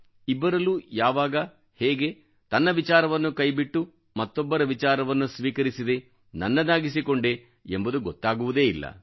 ಇಬ್ಬರಲ್ಲೂ ಯಾವಾಗ ಹೇಗೆ ತನ್ನ ವಿಚಾರವನ್ನು ಕೈಬಿಟ್ಟು ಮತ್ತೊಬ್ಬರ ವಿಚಾರವನ್ನು ಸ್ವೀಕರಿಸಿದೆ ನನ್ನದಾಗಿಸಿಕೊಂಡೆ ಎಂಬುದು ಗೊತ್ತಾಗುವುದೇ ಇಲ್ಲ